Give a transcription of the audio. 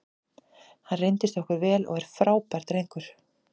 Hann reyndist okkur vel og er frábær drengur.